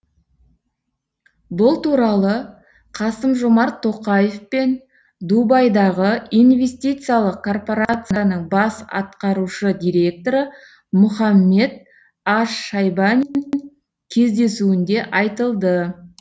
бұл туралы қасым жомарт тоқаев пен дубайдағы инвестициялық корпорацияның бас атқарушы директоры мұхаммед аш шайба кездесуінде айтылды